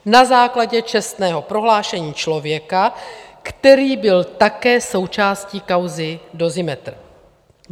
Na základě čestného prohlášení člověka, který byl také součástí kauzy Dozimetr!